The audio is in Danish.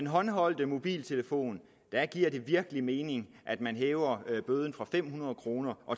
håndholdte mobiltelefoner giver det virkelig mening at man hæver bøden fra fem hundrede kroner